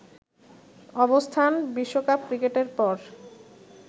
অবস্থান বিশ্বকাপ ক্রিকেটের পর